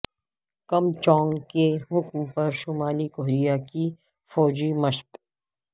کم Jong کے حکم پر شمالی کوریا کی فوجی مشق